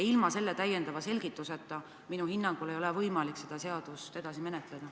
Ilma täiendava selgituseta minu hinnangul ei ole võimalik seda seaduseelnõu edasi menetleda.